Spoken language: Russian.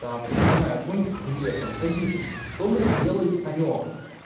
там я не знаю какой нибудь хлеб там сосисок что бля делает санёк